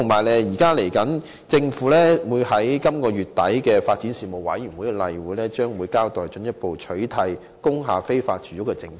另外，政府將在本月底舉行的發展事務委員會例會上，交代進一步取締工業大廈非法住屋的政策。